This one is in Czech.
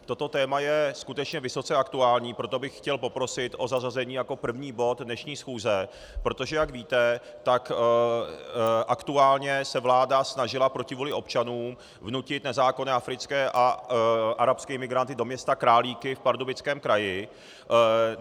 Toto téma je skutečně vysoce aktuální, proto bych chtěl poprosit o zařazení jako první bod dnešní schůze, protože jak víte, tak aktuálně se vláda snažila proti vůli občanů vnutit nezákonně africké a arabské imigranty do města Králíky v Pardubickém kraji.